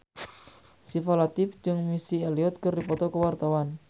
Syifa Latief jeung Missy Elliott keur dipoto ku wartawan